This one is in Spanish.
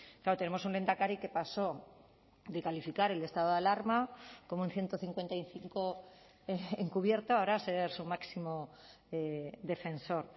claro tenemos un lehendakari que pasó de calificar el estado de alarma como un ciento cincuenta y cinco encubierto ahora a ser su máximo defensor